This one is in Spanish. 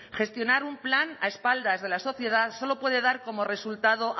gestionar un plan a espaldas de la sociedad solo puede dar como resultado